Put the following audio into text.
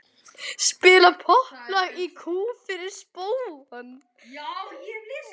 Spila popplag í kú fyrir spóann.